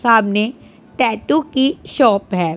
सामने टैटू की शॉप है।